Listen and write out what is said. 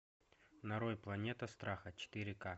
нарой планета страха четыре ка